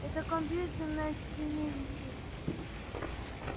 это компьютер на стене висит